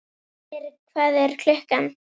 Styrr, hvað er klukkan?